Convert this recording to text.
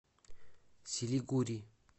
силигури